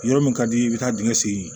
Yɔrɔ min ka di i bɛ taa dingɛ sen